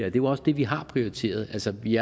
er jo også det vi har prioriteret altså vi